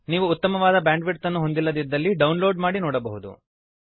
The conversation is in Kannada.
ನೀವು ಉತ್ತಮವಾದ ಬ್ಯಾಂಡ್ವಿಡ್ತ್ ಅನ್ನು ಹೊಂದಿಲ್ಲದಿದ್ದರೆ ಡೌನ್ಲೋಡ್ ಮಾಡಿ ನೋಡಬಹುದು